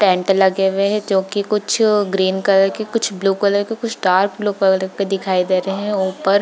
tent लगे हुए हैं जो की कुछ ग्रीन कलर के कुछ ब्लू कलर के कुछ डार्क ब्लू कलर के दिखाई दे रहे हैं ऊपर --